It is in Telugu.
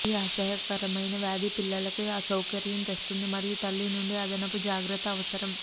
ఈ అసహ్యకరమైన వ్యాధి పిల్లలకి అసౌకర్యం తెస్తుంది మరియు తల్లి నుండి అదనపు జాగ్రత్త అవసరం